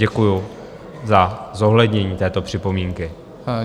Děkuju za zohlednění této připomínky.